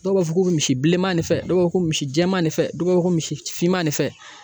Dɔw b'a fɔ ko misi bilenman de fɛ dɔw b'a fɔ ko misi jɛman ne fɛ dɔw b'a fɔ ko misi finman ne fɛ.